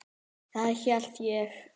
Það hélt ég.